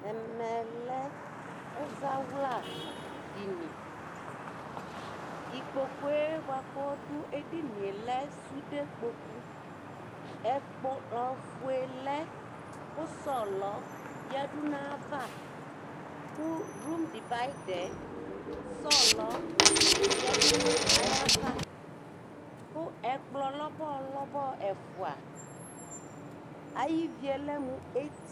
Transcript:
ɛmɛ lɛ ɛzawla dini ikpokue boa ko ɔdu edinie lɛ sude kpoku ɛkplɔ fue lɛ ko sɔlɔ yadu n'ava ko rum divaidaɛ sɔlɔ yadu no ayava ko ɛkplɔ lɔbɔ lɔbɔ ɛfua ay'ivie lɛ mo eti